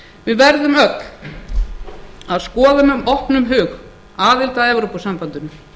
við verðum öll að skoða með opnum hug aðild að evrópusambandinu